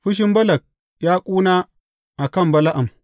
Fushin Balak ya ƙuna a kan Bala’am.